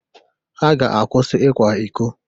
Ha ga-akwụsị ikwa iko.